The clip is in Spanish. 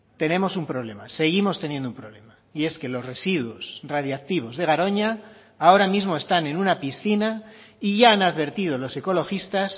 tenemos un problema seguimos teniendo un problema y es que los residuos radiactivos de garoña ahora mismo están en una piscina y ya han advertido los ecologistas